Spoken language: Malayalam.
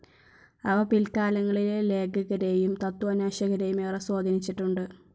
അവ പിൽക്കാലങ്ങളിലെ ലേഖകരേയും തത്ത്വാന്വേഷകരേയും ഏറെ സ്വാധീനിച്ചിട്ടുണ്ട്.